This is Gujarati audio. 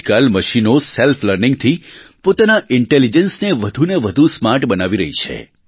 આજકાલ મશીનો સેલ્ફ લર્નિંગથી પોતાના ઇન્ટેલિજન્સને વધુને વધુ સ્માર્ટ બનાવી રહી છે